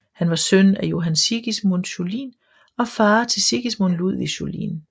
Han var søn af Johan Sigismund Schulin og fader til Sigismund Ludvig Schulin